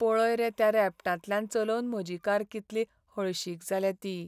पळय रे त्या रेबटांतल्यान चलोवन म्हजी कार कितली हळशीक जाल्या ती.